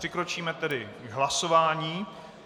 Přikročíme tedy k hlasování.